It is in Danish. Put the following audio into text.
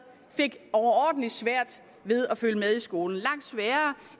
fik overordentlig svært ved at følge med i skolen langt sværere